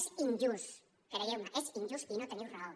és injust creieu me és injust i no teniu raó